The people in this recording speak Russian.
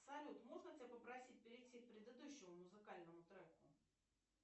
салют можно тебя попросить перейти к предыдущему музыкальному треку